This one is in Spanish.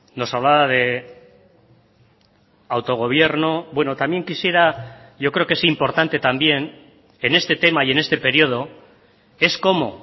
nos hablaba de autogobierno bueno también quisiera yo creo que es importante también en este tema y en este periodo es cómo